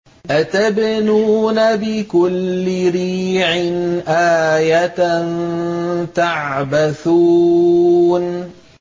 أَتَبْنُونَ بِكُلِّ رِيعٍ آيَةً تَعْبَثُونَ